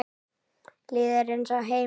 Líður eins og heima.